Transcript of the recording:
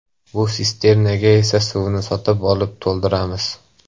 Bu sisternaga esa suvni sotib olib to‘ldiramiz.